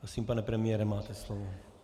Prosím, pane premiére, máte slovo.